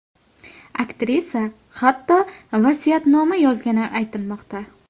Aktrisa, hatto vasiyatnoma yozgani aytilmoqda.